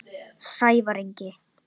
Sævar Ingi.